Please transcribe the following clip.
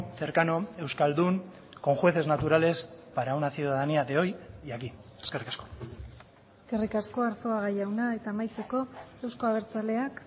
cercano euskaldun con jueces naturales para una ciudadanía de hoy y aquí eskerrik asko eskerrik asko arzuaga jauna eta amaitzeko euzko abertzaleak